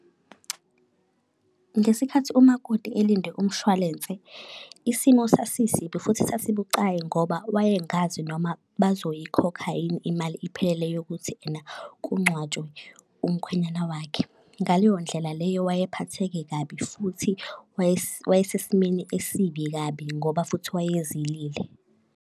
Ngesikhathi umakoti elinde umshwalense, isimo sasisibi futhi sasibucayi ngoba wayengazi noma bazoyikhokha yini imali iphelele yokuthi ena kungcwatshwe umkhwenyana wakhe. Ngaleyo ndlela leyo wayephatheke kabi, futhi wayesesimeni esibi kabi ngoba futhi wayezilile.